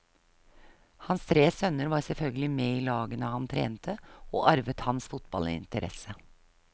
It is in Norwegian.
Hans tre sønner var selvfølgelig med i lagene han trente og arvet hans fotballinteresse.